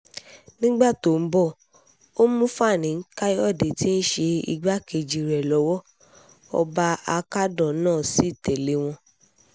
nígbà tó ń bọ̀ ọ́ mú fani-kàyọ̀dé tí í ṣe igbákejì rẹ̀ lọ́wọ́ ọba akádàn náà sí tẹ̀lé wọn